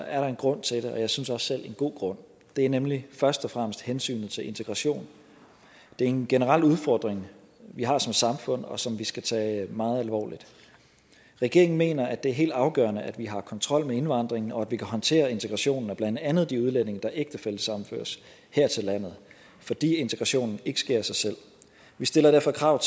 er der en grund til det og jeg synes også selv en god grund det er nemlig først og fremmest hensynet til integrationen det er en generel udfordring vi har som samfund og som vi skal tage meget alvorligt regeringen mener at det er helt afgørende at vi har kontrol med indvandringen og at vi kan håndtere integrationen af blandt andet de udlændinge der ægtefællesammenføres her til landet fordi integrationen ikke sker af sig selv vi stiller derfor krav